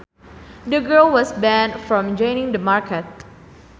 The girl was banned from joining the market